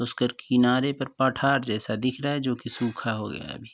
उसकर किनारे पर पठार जैसा दिख रहा है जो कि सूखा हो गया है अभी।